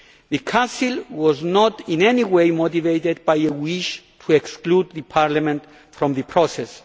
The Council was not in any way motivated by a wish to exclude Parliament from the process.